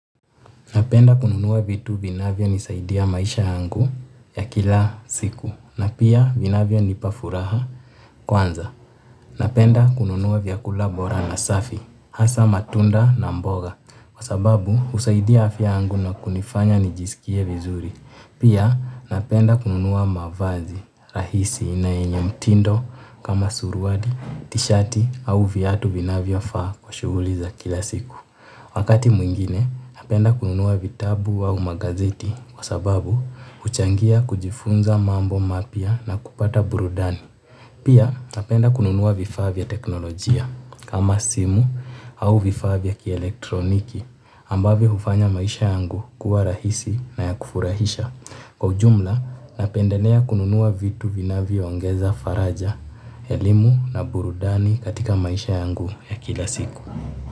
Napenda kununua vitu vinavyonisaidia maisha yangu ya kila siku. Na pia vinavyonipa furaha kwanza. Napenda kununua vyakula bora na safi, hasa matunda na mboga. Kwa sababu, husaidia afya yangu na kunifanya nijisikie vizuri. Pia napenda kununua mavazi, rahisi na yenye mtindo kama suruali, tishati au viatu vinavyofaa kwa shuguli za kila siku. Wakati mwingine napenda kununua vitabu au magazeti kwa sababu huchangia kujifunza mambo mapya na kupata burudani. Pia napenda kununua vifaa vya teknolojia kama simu au vifaa vya kielektroniki ambavyo hufanya maisha yangu kuwa rahisi na ya kufurahisha. Kwa ujumla napendelea kununua vitu vinavyoongeza faraja, elimu na burudani katika maisha yangu ya kila siku.